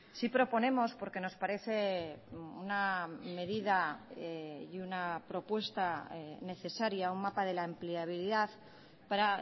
sí proponemos porque nos parece una medida y una propuesta necesaria un mapa de la empleabilidad para